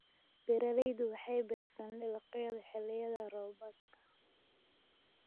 Beeraleydu waxay beertaan dalagyada xilliyada roobaadka.